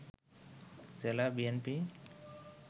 জেলা বিএনপি